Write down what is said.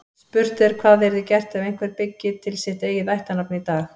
Spurt er hvað yrði gert ef einhver byggi til sitt eigið ættarnafn í dag.